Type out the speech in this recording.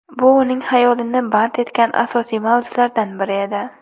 Bu uning xayolini band etgan asosiy mavzulardan biri edi.